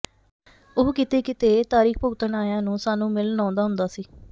ਉਹ ਕਿਤੇ ਕਿਤੇ ਤਰੀਖ਼ ਭੁਗਤਣ ਆਇਆਂ ਨੂੰ ਸਾਨੂੰ ਮਿਲਣ ਆਉਂਦਾ ਹੁੰਦਾ ਸੀ